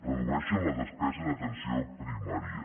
redueixen la despesa en atenció primària